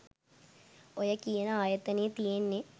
ඔය කියන ආයතනය තියෙන්නේ